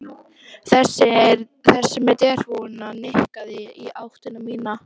Þessi með derhúfuna nikkaði í áttina til mín.